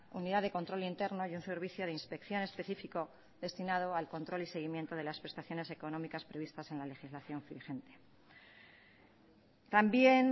unidad de control interna y un servicio de inspección específico destinado al control y seguimiento de las prestaciones económicas previstas en la legislación vigente también